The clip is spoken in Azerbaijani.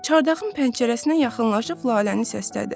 Çardağın pəncərəsinə yaxınlaşıb Laləni səslədi: